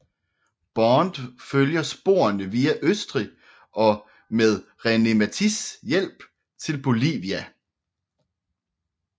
Bond følger sporene via Østrig og med René Mathis hjælp til Bolivia